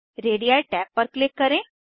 ready tab पर click करें